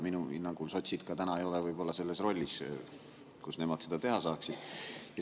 Minu hinnangul ei ole sotsid täna ka võib-olla sellises rollis, et nad seda teha saaksid.